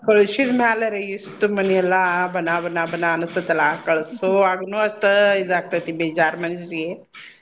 ಕಳ್ಸಿದ್ ಮ್ಯಾಲರೀ ಇಷ್ಟ್ ಮನಿ ಎಲ್ಲಾ ಬಣಾ ಬಣಾ ಬಣಾ ಅನಸ್ತಿತ್ ಅಲ್ಲ ಕಳ್ಸೊವಾಗನು ಅಷ್ಟ ಇದ ಆಗ್ತೇತಿ ಬೇಜಾರ್ ಮನ್ಸಿಗೆ.